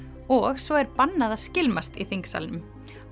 og svo er bannað að skylmast í þingsalnum